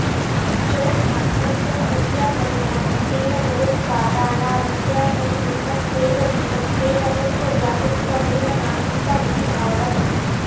जगन्मात्रस्य अविद्यापरिणामत्वेन जगदुपादानाविद्याप्रतिबिम्बस्यैव जीवत्वेन तस्य व्यापित्वमेव नाणुत्वमिति भावः